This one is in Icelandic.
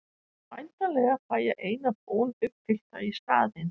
En væntanlega fæ ég eina bón uppfyllta í staðinn?